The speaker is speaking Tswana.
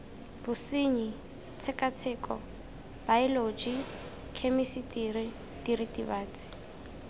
bosenyi tshekatsheko baeoloji khemisitiri diritibatsi